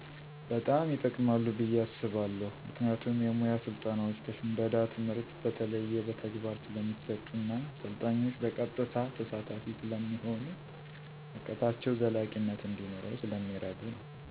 በጣም ይጠቅማሉ ብየ አስባለሁ። ምክንያቱም የሙያ ስልጠናዎች ከ ሽምደዳ ትምህርት በተለየ በተግባር ስለሚሰጡ እና ስልጣኞች በቀጥታ ተሳታፊ ስለሚሆኑ እውቀታቸው ዘላቂነት እንዲኖረው ስለሚረዱ ነው።